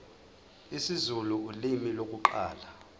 isizulu ulimi lokuqala